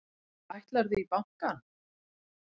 Ætlarðu í bankann?